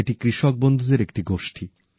এটি কৃষক বন্ধুদের একটি গোষ্ঠী